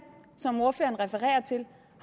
som ordføreren refererer til